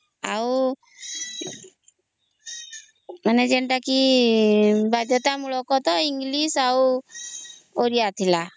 ଆଉ ଯେନ୍ତା କି ବାଧ୍ୟଟା ମୂଳକ ଇଂଲିଶ ଆଉ ଓଡ଼ିଆ ଥିଲା